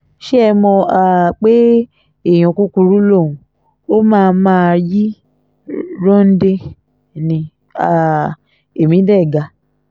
ṣé ẹ mọ̀ um pé èèyàn kúkúrú lòun ó máa máa yí ròǹdè ní um ẹ̀mí dé ga